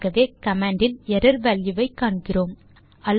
ஆகவே கமாண்ட் இல் error value ஐ காண்கிறோம்